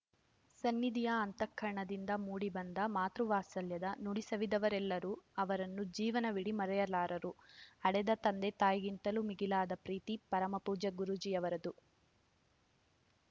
ಸನ್ನಿಧಿಯ ಅಂತಃಕರಣದಿಂದ ಮೂಡಿಬಂದ ಮಾತೃವಾತ್ಸಲ್ಯದ ನುಡಿಸವಿದವರೆಲ್ಲರೂ ಅವರನ್ನು ಜೀವನವೀಡಿ ಮರೆಯಲಾರರು ಹಡೆದ ತಂದೆ ತಾಯಿಗಿಂತಲೂ ಮಿಗಿಲಾದ ಪ್ರೀತಿ ಪರಮಪೂಜ್ಯ ಗೂರೂಜಿಯವರದು